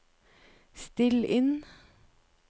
still inn